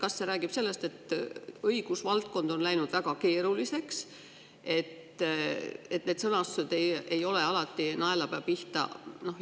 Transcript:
Kas see räägib sellest, et õigusvaldkond on läinud väga keeruliseks, et need sõnastused ei ole alati naelapea pihta?